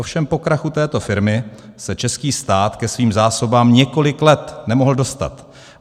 Ovšem po krachu této firmy se český stát ke svým zásobám několik let nemohl dostat.